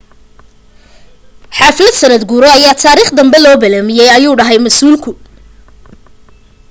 xaflad sanad guuro ayaa taarikh danbe loo balamiye ayuu dhahay masuul